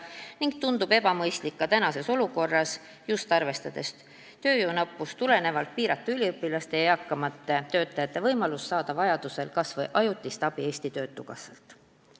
Näiteks tundub ebamõistlik piirata praeguses olukorras, kui tööjõudu napib, üliõpilaste ja eakamate töötajate võimalusi saada vajadusel ajutist abi Eesti Töötukassast.